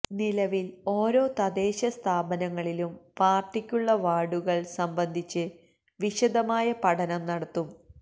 നിലവില് ഓരോ തദ്ദേശ സ്ഥാപനങ്ങളിലും പാര്ട്ടിക്കുള്ള വാര്ഡുകള് സംബന്ധിച്ച് വിശദമായ പഠനം നടത്തും